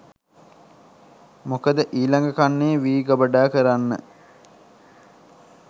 මොකද ඊළඟ කන්නේ වී ගබඩා කරන්න